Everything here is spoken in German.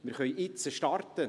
Wir können jetzt starten: